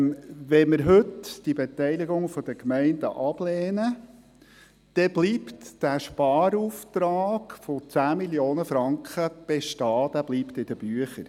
– Wenn wir heute die Beteiligung der Gemeinden ablehnen, bleibt der Sparauftrag von 10 Mio. Franken bestehen, er bleibt in den Büchern.